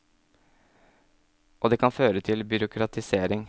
Og det kan føre til byråkratisering.